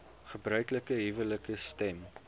gebruiklike huwelike stem